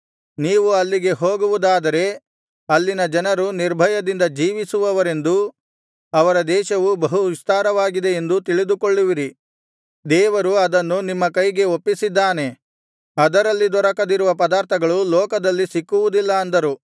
ನೀವು ಅಲ್ಲಿಗೆ ಹೋಗುವುದಾದರೆ ಅಲ್ಲಿನ ಜನರು ನಿರ್ಭಯದಿಂದ ಜೀವಿಸುವವರೆಂದೂ ಅವರ ದೇಶವು ಬಹು ವಿಸ್ತಾರವಾಗಿದೆ ಎಂದೂ ತಿಳಿದುಕೊಳ್ಳುವಿರಿ ದೇವರು ಅದನ್ನು ನಿಮ್ಮ ಕೈಗೆ ಒಪ್ಪಿಸಿದ್ದಾನೆ ಅದರಲ್ಲಿ ದೊರಕದಿರುವ ಪದಾರ್ಥಗಳು ಲೋಕದಲ್ಲಿ ಸಿಕ್ಕುವುದಿಲ್ಲ ಅಂದರು